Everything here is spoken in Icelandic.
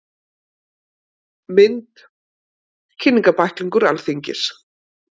Mynd: Kynningarbæklingur Alþingis.